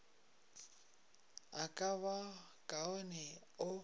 a ka ba kaone o